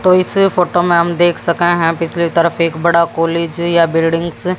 तो इस फोटो में हम देख सके हैं पिछली तरफ एक बड़ा कॉलेज है या बिल्डिंग्स --